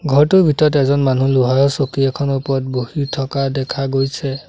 ঘৰটোৰ ভিতৰত এজন মানুহ লোহৰৰ চকী এখনৰ ওপৰত বহি থকা দেখা গৈছে।